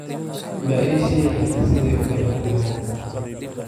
ma ii sheegi kartaa siday u kala horreeyaan